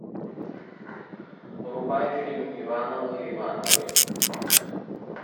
врубай фильм ивановы ивановы